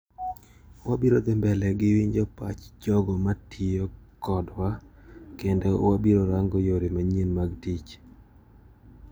Wabiro dhi mbele gi winjo pach jogo matiyo kodwa kendo wabirorango yore manyien mag tich.